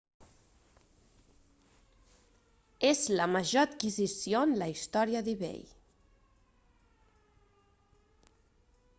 és la major adquisició en la història d'ebay